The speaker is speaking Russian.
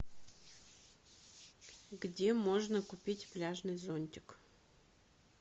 где можно купить пляжный зонтик